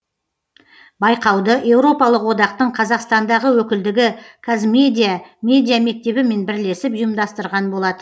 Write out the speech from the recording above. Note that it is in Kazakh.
байқауды еуропалық одақтың қазақстандағы өкілдігі қазмедиа медиамектебімен бірлесіп ұйымдастырған болатын